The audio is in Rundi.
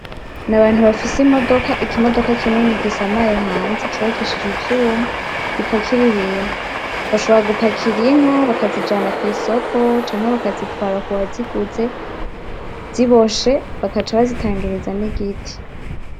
N´abantu bafise imodoka, ikimodoka kinini gisamaye hanze cubakishijwe ivyuma ipakira ibintu bashobora gupakira inka bakazijana ku isoko canke bakazitwara ku waziguze ziboshe bagaca bazitangereza n´igiti.